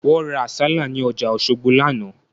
Wọ́n ra àsálà ní ọjà Òṣogbo lánàá